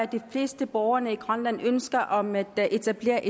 de fleste borgere i grønland et ønske om at der etableres